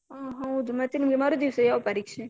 ಹ್ಮ್. ಹೌದು ಮತ್ತೆ ನಿಮ್ಗೆ ಮರುದಿವ್ಸ ಯಾವ ಪರೀಕ್ಷೆ?